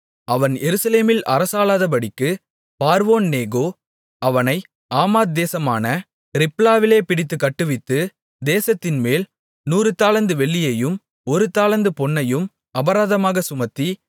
அவன் எருசலேமில் அரசாளாதபடிக்கு பார்வோன்நேகோ அவனை ஆமாத் தேசமான ரிப்லாவிலே பிடித்துக் கட்டுவித்து தேசத்தின்மேல் நூறு தாலந்து வெள்ளியையும் ஒரு தாலந்து பொன்னையும் அபராதமாகச் சுமத்தி